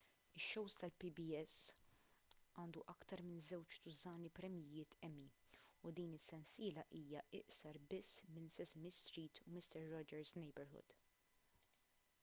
ix-show tal-pbs għandu aktar minn żewġ tużżani premjijiet emmy u din is-sensiela hija iqsar biss minn sesame street u mister rogers' neighborhood